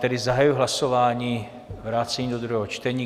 Tedy zahajuji hlasování - vrácení do druhého čtení.